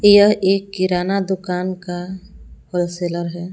यह एक किराना दुकान का होलसेलर है।